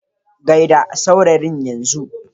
Gai da saurayin Yan zun.